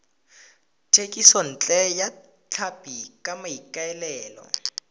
thekisontle ya tlhapi ka maikaelelo